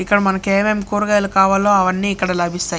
ఇక్కడ మనకి ఎం-ఎం కూరగాయలు కావాలో అవ్వన్నీ ఇక్కడ లభిస్తాయి.